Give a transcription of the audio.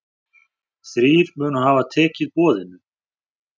Þrír munu hafa tekið boðinu.